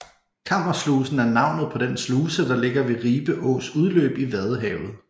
Kammerslusen er navnet på den sluse der ligger ved Ribe Ås udløb i Vadehavet